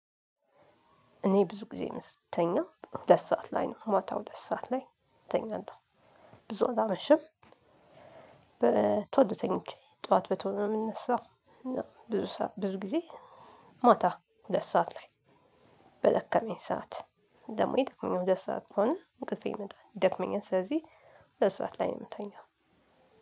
እኔ ብዙ ጊዜ ስተኛ ሁለት ሰዓት ላይ ነው ማታ ሁለት ሰዓት ላይ እተኛለሁ። ብዙ አላመሽም። በቶሎ ተኝቼ ጠዋት በቶሎ ነው የምንነሳው። ብዙ ሰዓት ብዙ ጊዜ። ማታ ሁለት ሰዓት ላይ። በደከመኝ ሰዓት ደግሞ የጠቀመኝ ሁለት ሰዓት ከሆነ እንቅልፌ ይመጣል ይደክመኛል። ስለዚህ ሁለት ሰዓት ላይ ነው የምተኛው።